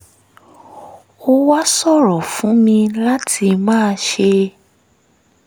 ó wá ṣòro fún mi láti máa ṣe